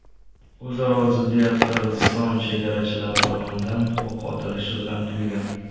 O‘zaro ziddiyat Qirg‘iziston chegarachilari tomonidan o‘q otilishi bilan tugagan.